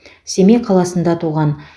семей қаласында туған